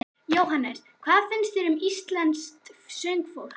Jóhannes: Hvað finnst þér um íslenskt söngfólk?